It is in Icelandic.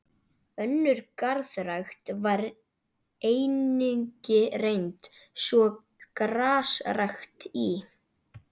Önnur garðrækt var einnig reynd, svo og grasrækt í